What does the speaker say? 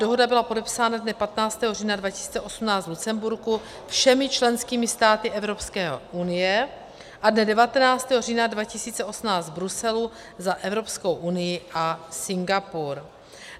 Dohoda byla podepsána dne 15. října 2018 v Lucemburku všemi členskými státy Evropské unie a dne 19. října 2018 v Bruselu za Evropskou unii a Singapur.